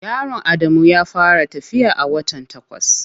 Yaron Adamu ya fara tafiya a wata takwas.